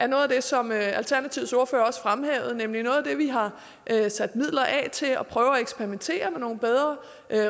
noget af det som alternativets ordfører også fremhævede nemlig at vi har sat midler af til at prøve at eksperimentere med nogle bedre